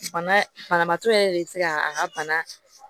Bana banabaatɔ yɛrɛ de bɛ se ka a ka bana